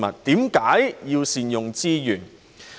為何要善用資源？